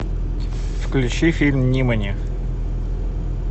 включи фильм нимани